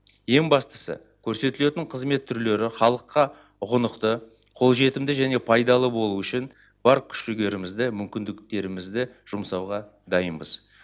ең бастысы көрсетілетін қызмет түрлері халыққа ұғынықты қолжетімді және пайдалы болуы үшін бар күш жігерімізді мүмкіндіктерімізді жұмсауға дайынбыз